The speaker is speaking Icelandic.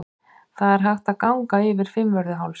Það er hægt að ganga yfir Fimmvörðuháls.